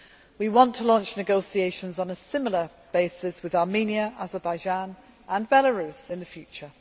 We want to launch negotiations on a similar basis with Armenia, Azerbaijan and Belarus in the future.